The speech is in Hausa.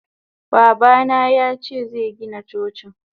Babana yace zegina Cocin.